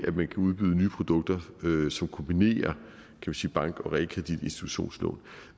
at man kan udbyde nye produkter som kombinerer bank og realkreditinstitutionslån